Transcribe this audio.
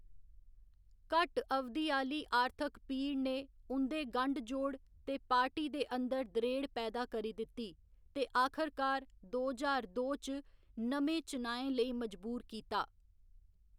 घट्ट अवधि आह्‌ली आर्थक पीड़ ने उं'दे गंढ जोड़ ते पार्टी दे अंदर दरेड़ पैदा करी दित्ती, ते आखरकार दो ज्हार दो च नमें चुनाएं लेई मजबूर कीता।